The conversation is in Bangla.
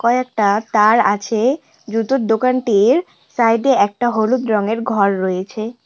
কয়েকটা তার আছে জুতোর দোকানটির সাইড -এ একটা হলুদ রঙের ঘর রয়েছে।